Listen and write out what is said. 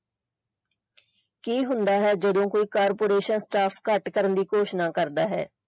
ਕੀ ਹੁੰਦਾ ਹੈ ਜਦੋਂ ਕੋਈ corporation staff ਘੱਟ ਕਰਨ ਦੀ ਘੋਸ਼ਣਾ ਕਰਦਾ ਹੈ।